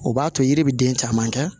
O b'a to yiri bɛ den caman kɛ